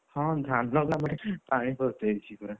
ହଁ ଧାନ ବିଲରେ ପାଣି ପଶିଯାଇଛି ପୁରା,